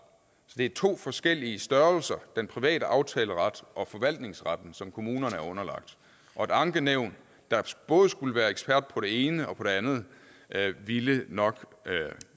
det er to forskellige størrelser den private aftaleret og forvaltningsretten som kommunerne er underlagt og et ankenævn der både skulle være ekspert på det ene og på det andet ville nok